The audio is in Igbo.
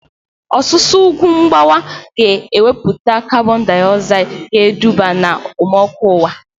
Ọsusu ugwu mgbawa ga ewepụta kabọn diogzaid ga eduba na okpomọkụ ụwa